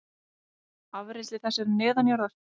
Afrennsli þess er neðanjarðar.